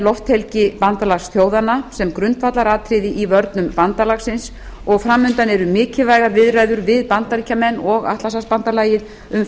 lofthelgi bandalagsþjóðanna sem grundvallaratriði í vörnum bandalagsins og framundan eru mikilvægar viðræður við bandaríkin og atlantshafsbandalagið um